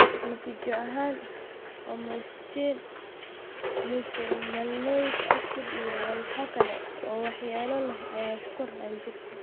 Natiijo ahaan, homocystine, methylmalonic acid, iyo walxo kale oo waxyeello leh ayaa ku koraan jirka.